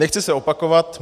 Nechci se opakovat.